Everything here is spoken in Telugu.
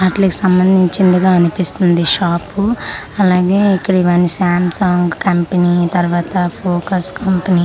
వాటికి సంబందించి గా అనిపిస్తుంది ఈ షాప్ అలాగే ఇవి శ్యామసంగ్ కంపనీ తరువాత ఫోకస్ కంపనీ .]